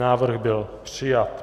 Návrh byl přijat.